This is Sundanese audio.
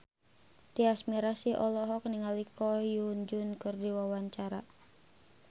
Tyas Mirasih olohok ningali Ko Hyun Jung keur diwawancara